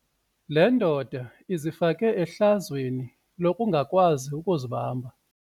Le ndoda izifake ehlazweni lokungakwazi ukuzibamba.